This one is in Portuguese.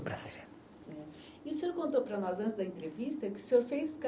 E o senhor contou para nós, antes da entrevista, que o senhor fez